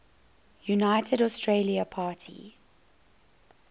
united australia party